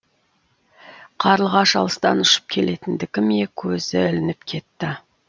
қарлығаш алыстан ұшып келгендікі ме көзі ілініп кетті